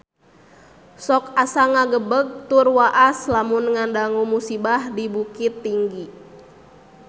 Sok asa ngagebeg tur waas lamun ngadangu musibah di Bukittinggi